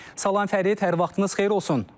Salam Fərid, hər vaxtınız xeyir olsun.